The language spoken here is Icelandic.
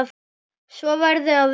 Svo verði að vera.